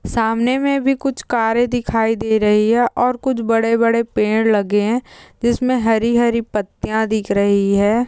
सामने मे भी कुछ कारे दिखाई दे रही है और कुछ बड़े-बड़े पेड़ लगे है जिसमे हरी-हरी पत्तिया दिख्ब रही है।